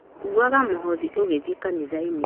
Kuuaga mũhothi ũgĩthiĩ kanitha